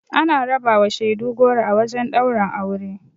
Ana rabawa shaidu goro a wajen ɗaurin aure.